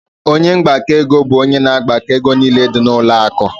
Ọnye mgbako ego bụ ónyé na agbako égo niile dị na ụlọ akụ.